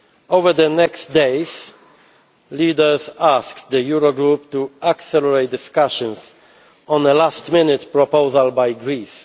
Over the next days, leaders asked the Eurogroup to accelerate discussions on a last minute proposal by Greece.